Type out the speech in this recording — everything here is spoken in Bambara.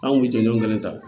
An kun bɛ jɔnjɔn kelen ta